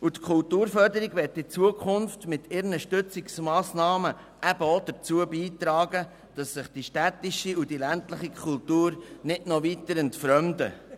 Die Kulturförderung will in Zukunft mit ihren Stützungsmassnahmen auch dazu beitragen, dass sich die städtische und die ländliche Kultur nicht noch weiter entfremden.